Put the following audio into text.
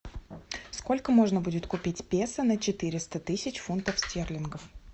сколько можно будет купить песо на четыреста тысяч фунтов стерлингов